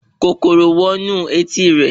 Kòkòrò wọ inú etí rẹ̀